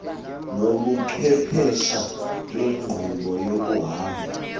nobuchwephesha benkqubo yokuhamba